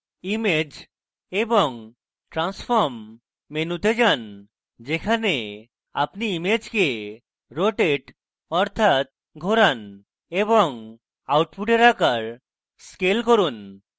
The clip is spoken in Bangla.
image এবং transform মেনুতে যান যেখানে আপনি ইমেজকে rotate অর্থাৎ ঘোরান এবং output আকার scale করুন